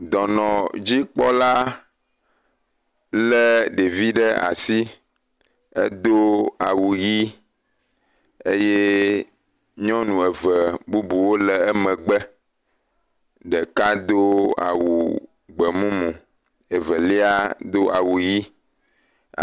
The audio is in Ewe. Dɔnɔdzikpɔla lé ɖevi ɖe asi, do awu ʋɛ̃ eye n yɔnu eve bubuwo le emegbe. Ɖeka do awu gbemumu, evelia do awu ʋɛ̃.